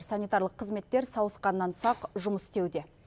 санитарлық қызметтер сауысқаннан сақ жұмыс істеуде